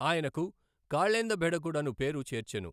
ఆయనకు కాళేందబెఢకుడను పేరు చేర్చెను.